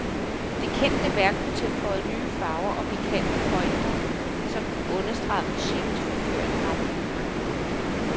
Det kendte værk blev tilføjet nye farver og pikante pointer, som understregede musikkens forførende raffinement.